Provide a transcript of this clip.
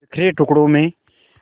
बिखरे टुकड़ों में